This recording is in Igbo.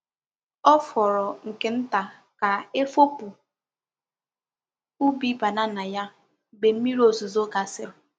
Ọ fọrọ nke nta ka efopụ ubi banana ya mgbe mmiri ozuzo gasịrị.